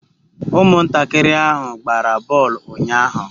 Umuntakiri ahu gbara boolu unyahu